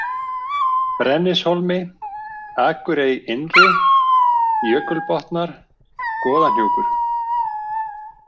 Brennishólmi, Akurey-Innri, Jökulbotnar, Goðahnjúkur